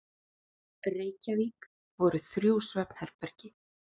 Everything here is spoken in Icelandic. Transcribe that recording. Reykjavík voru þrjú svefnherbergi.